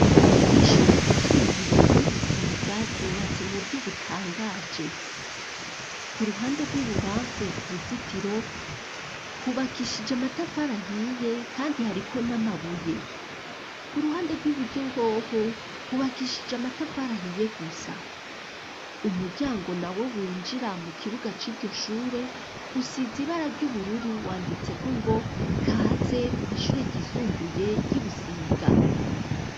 Ishure ryisumbuye ry'i Busiga ryubatse mu buryo butangaje. Ku ruhande rw'ibubamfu ku ruzitiro, hubakishije amatafara ahiye kandi hariko n'amabuye. Ku ruhande rw'iburyo hoho hubakishije amatafara ahiye gusa. Umuryango na wo winjira mu kibuga c'iryo shure, usize ibara ry'ubururu wanditseko ngo : Kaze kw'ishure ryisumbuye ry'i Busiga.